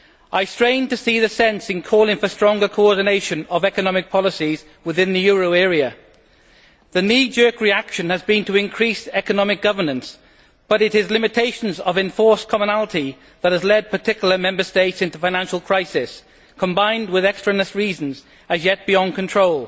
I strain to see the sense in calling for stronger coordination of economic policies within the euro area. The knee jerk reaction has been to increase economic governance, but it is limitations of enforced commonality that have led particular Member States into financial crisis, combined with extraneous reasons as yet beyond our control.